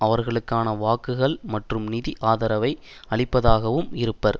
அவர்களுக்கான வாக்குகள் மற்றும் நிதி ஆதரவை அளிப்பதாகவும் இருப்பர்